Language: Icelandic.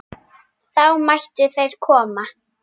Þá mættu þeir koma.